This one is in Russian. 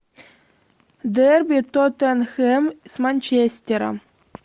дерби тоттенхэм с манчестером